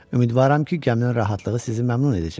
Ümidvaram ki, gəminin rahatlığı sizi məmnun edəcək.